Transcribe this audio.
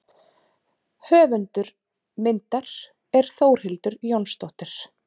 Höfundur myndar er Þórhildur Jónsdóttir.